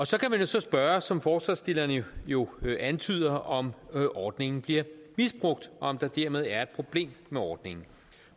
så kan man så spørge som forslagsstillerne jo antyder om om ordningen bliver misbrugt og om der dermed er et problem med ordningen